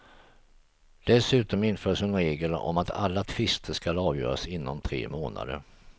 Dessutom införs en regel om att alla tvister skall avgöras inom tre månader.